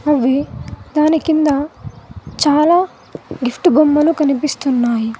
అవి దాని కింద చాలా గిఫ్ట్ బొమ్మలు కనిపిస్తున్నాయి.